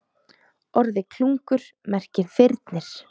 Orðið klungur merkir þyrnir.